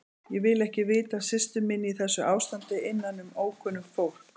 Ég vil ekki vita af systur minni í þessu ástandi innanum ókunnugt fólk.